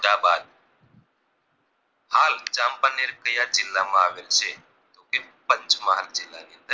અહલાબાદ હાલ ચાંપાનેર કયા જીલ્લા માં આવેલું છે તો કે પંચમહાલ જીલ્લાંમાં